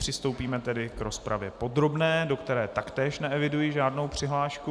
Přistoupíme tedy k rozpravě podrobné, do které taktéž neeviduji žádnou přihlášku.